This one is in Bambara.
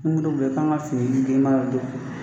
Ni bi boli, i kan ga fini girinma don.